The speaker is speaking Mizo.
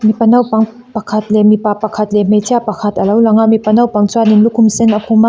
mipa naupang pakhat leh mipa pakhat leh hmeichhia pakhat alo lang a mipa naupang chuan lukhum sen a khum a.